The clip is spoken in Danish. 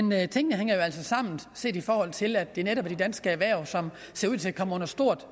men tingene hænger altså sammen set i forhold til at det netop er de danske erhverv som ser ud til at komme under stort